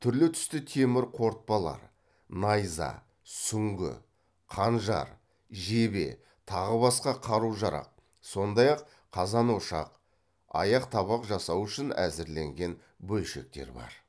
түрлі түсті темір қорытпалар найза сүңгі қанжар жебе тағы басқа қару жарақ сондай ақ қазан ошақ аяқ табақ жасау үшін әзірленген бөлшектер бар